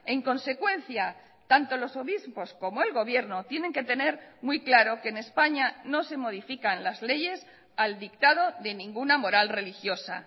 en consecuencia tanto los obispos como el gobierno tienen que tener muy claro que en españa no se modifican las leyes al dictado de ninguna moral religiosa